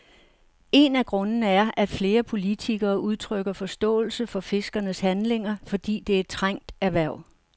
En af grundene er, at flere politikere udtrykker forståelse for fiskernes handlinger, fordi det er et trængt erhverv.